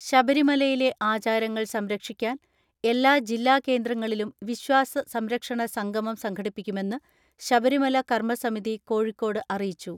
ശബരിമലയിലെ ആചാരങ്ങൾ സംരക്ഷിക്കാൻ എല്ലാ ജില്ലാ കേന്ദ്രങ്ങളിലും വിശ്വാസ സംരക്ഷണ സംഗമം സംഘടിപ്പിക്കുമെന്ന് ശബരിമല കർമ്മ സമിതി കോഴിക്കോട് അറിയിച്ചു.